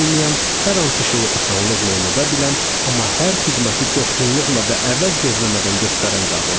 olmayan hər hansı şeyi asanlıqla unuda bilən, amma hər xidməti coşğunluqla və əvəz gözləmədən göstərən qadındır.